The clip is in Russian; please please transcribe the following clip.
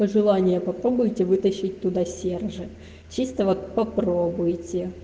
пожелание попробуйте вытащить туда сержа чисто вот попробуйте